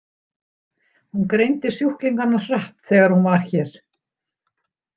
Hún greindi sjúklingana hratt þegar hún var hér.